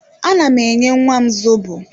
Ana m enye nwam zobo